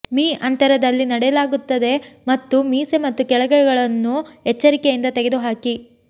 me ಅಂತರದಲ್ಲಿ ನೆಡಲಾಗುತ್ತದೆ ಮತ್ತು ಮೀಸೆ ಮತ್ತು ಕಳೆಗಳನ್ನು ಎಚ್ಚರಿಕೆಯಿಂದ ತೆಗೆದುಹಾಕಿ